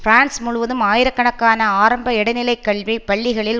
France முழுவதும் ஆயிரக்கணக்கான ஆரம்ப இடைநிலைக் கல்வி பள்ளிகளில்